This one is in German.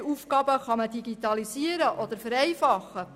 Welche Aufgaben kann man digitalisieren oder vereinfachen?